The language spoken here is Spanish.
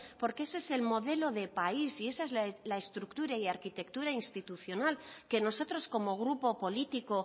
porque ese es el modelo de país y esa es la estructura y arquitectura institucional que nosotros como grupo político